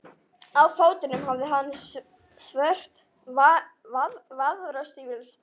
Á fótunum hafði hann svört vaðstígvél.